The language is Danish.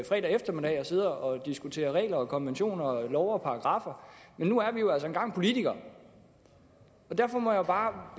fredag eftermiddag og sidder og diskuterer regler og konventioner og love og paragraffer men nu er vi jo altså engang politikere derfor må jeg bare